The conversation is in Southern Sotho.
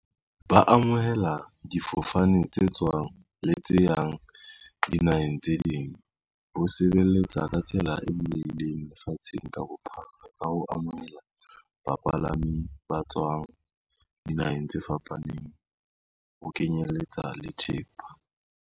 Ba amohela difofane tse tswang le tse yang dinaheng tse ding. Bo sebeletsa ka tsela e bulehileng lefatsheng ka bophara ka ho amohela bapalami ba tswang dinaheng tse fapaneng, ho kenyeletsa le thepa.